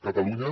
catalunya